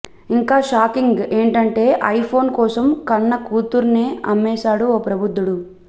ఇంకా షాకింగ్ ఏంటంటే iPhone కోసం కన్న కూతుర్నే అమ్మేసాడు ఓ ప్రబుధ్దుడు